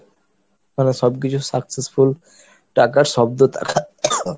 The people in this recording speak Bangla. মানে সবকিছু successful টাকার শব্দটা